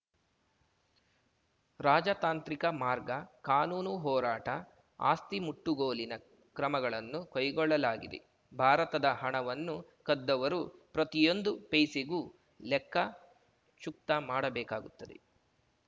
ರಾಜತಾಂತ್ರಿಕ ಮಾರ್ಗ ಕಾನೂನು ಹೋರಾಟ ಆಸ್ತಿ ಮುಟ್ಟುಗೋಲಿನ ಕ್ರಮಗಳನ್ನು ಕೈಗೊಳ್ಳಲಾಗಿದೆ ಭಾರತದ ಹಣವನ್ನು ಕದ್ದವರು ಪ್ರತಿಯೊಂದು ಪೈಸೆಗೂ ಲೆಕ್ಕ ಚುಕ್ತಾಮಾಡಬೇಕಾಗುತ್ತದೆ